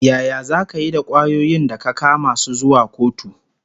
Yaya zaka yi da kwayoyin da ka kama su zuwa kotu?